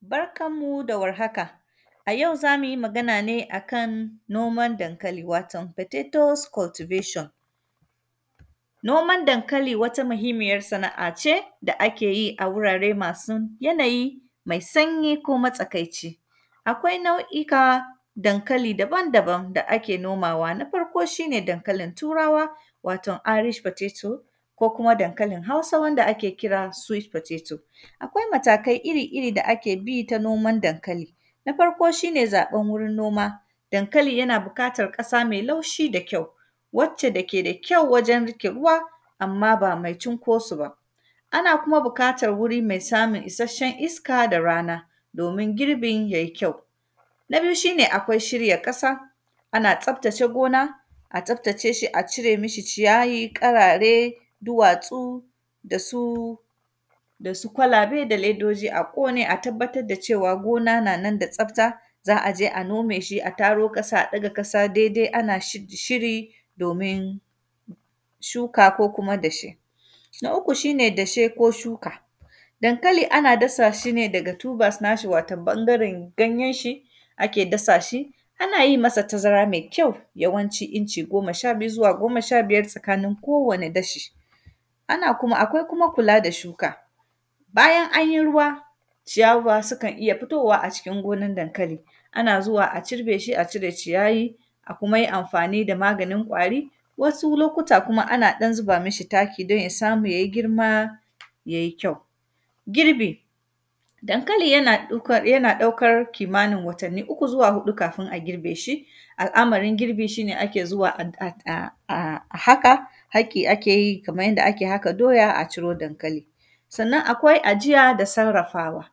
Barkan mu da warhaka, a yau za mu yi magan ne a kan noman dankali, waton “potatos cultivation”. Noman dankali, wata mahimmiyar sana’a ce, da ake yi a wurare masu yanayi mai sanyi ko matsakaici. Akwai nau’ika dankali daban-daban da ake nomawa. Na farko, shi ne dankalin Turawa, wato “irish potato” ko kuma dankalin Hausa, wanda ake kira “sweet potato”. Akwai matakai iri-iri da ake bi ta noman dankali, na faro, shi ne zaƃan wurin noma. Dankali yana bukatar ƙasa mai laushi da kyau, wacce da ke da kyau wajen rike ruwa, amma ba mai cinko sub a. Ana kuma bukatan wuri mai samun isasshen iska da rana domin girbin ya yi kyau. Na biyu, shi ne akwai shirya ƙasa, ana tsaftace gona, tsaftace shi, a cire mishi ciyayi, ƙarare, duwatsu da su, da su kwalabe da ledoji a ƙone, a tabbatad da cewa gona na nan da tsafta. Za aje a nome shi, a taro ƙasa, ɗaga ƙasa dede an ash; shiri, domin shuka ko kuma dashe. Na uku, shi ne dashe ko shuka, dankali ana shuka shi ne daga “tubers” nashi, waton bangaren ganyenshi ake dasa shi. Ana yi masa tazara me kyau, yawanci inci goma sha biyu zuwa goma sha biyar tsakanin kowane dashi. Ana kuma, akwai kuma kula da shuka, bayan an yi ruwa, ciyawa sikan iya fitowa a cikin gonan dankali. Ana zuwa a cirbe shi, a cire ciyayi, a kuma yi amfani da maganin ƙwari. Wasu lokuta kuma, ana ɗan ziba mishi taki don ya samu ya yi girma, ya yi kyau. Girbi, dankali yana ɗaukar, yana ɗaukar kimanin watanni uku zuwa huɗu kafin a girbe shi. Al’’amarin girbin, shi ne ake zuwa an; at; a, a, a haƙa, haƙi ake yi kaman yanda ake haka doya, a ciro dankali. Sannan, akwai ajiya da sarrafawa,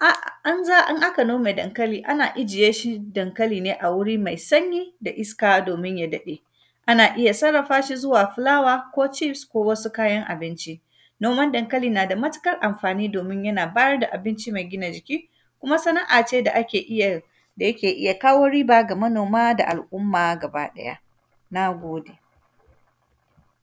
a; in za a; in aka nome dankali, ana ijiye shi dankali ne a wuri mai sanyi da iska domin ya daɗe. Ana iya sarrafa shi zuwa fulawa ko “cheefs” ko wasu kayan abinci. Noman dankali na da matikar amfani, domin yana bayar da abinci mai gina jiki, kuma sana’a ce da ake iya, da yake iya kawo riba ga manoma da al’umma gabaɗaya, na gode.